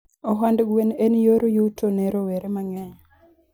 Ohand gwen en yor yuto ne rowere mangeny